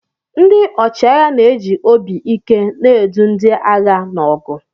Ndị ọchịagha na-eji obi ike na-edu ndị agha n'ọgụ.